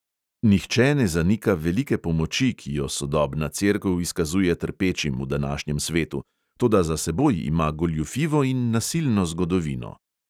Nihče ne zanika velike pomoči, ki jo sodobna cerkev izkazuje trpečim v današnjem svetu, toda za seboj ima goljufivo in nasilno zgodovino.